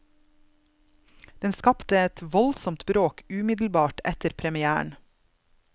Den skapte et voldsomt bråk umiddelbart etter premièren.